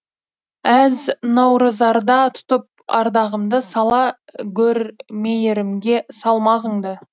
әз наурызарда тұтып ардағымды сала гөр мейірімге салмағыңды